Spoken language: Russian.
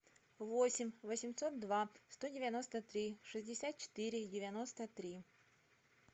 восемь восемьсот два сто девяносто три шестьдесят четыре девяносто три